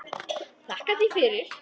Þakka þér fyrir.